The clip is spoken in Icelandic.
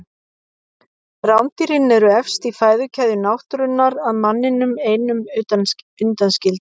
Rándýrin eru efst í fæðukeðju náttúrunnar að manninum einum undanskildum.